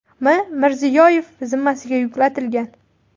M. Mirziyoyev zimmasiga yuklatilgan.